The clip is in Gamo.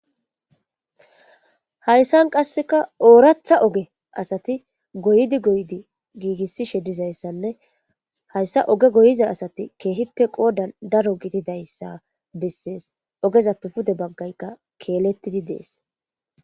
Hayssan qasseka ooratha oge asati goydi goydi giigissishe dizayssanne hayssa oge goyiza asati keehippe qoodan daro gididayssa bessees ogezappe pude baggaykka keelettidi dees.